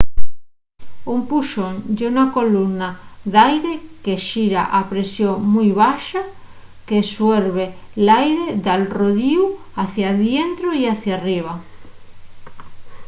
un puxón ye una columna d'aire que xira a presión mui baxa que suerbe l'aire d'al rodiu hacia dientro y hacia arriba